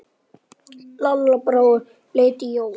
Lalla brá og leit á Jóa.